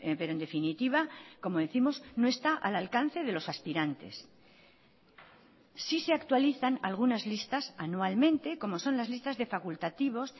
pero en definitiva como décimos no está al alcance de los aspirantes sí se actualizan algunas listas anualmente como son las listas de facultativos